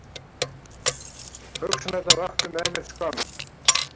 Hugsanirnar vöktu með mér skömm.